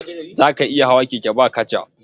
Za ka iya hawa keke ba kaca?